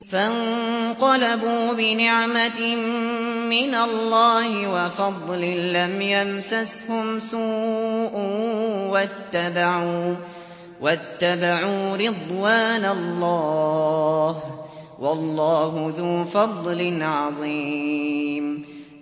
فَانقَلَبُوا بِنِعْمَةٍ مِّنَ اللَّهِ وَفَضْلٍ لَّمْ يَمْسَسْهُمْ سُوءٌ وَاتَّبَعُوا رِضْوَانَ اللَّهِ ۗ وَاللَّهُ ذُو فَضْلٍ عَظِيمٍ